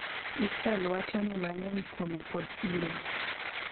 Israel wachoni mang'eny kuome pod iluwo.